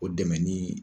O dɛmɛ ni